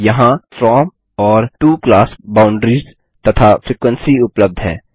यहाँ फ्रॉम और to class boundaries तथा फ्रीक्वेंसी उपलब्ध है